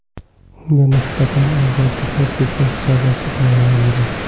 Unga nisbatan ozodlikni cheklash jazosi tayinlandi.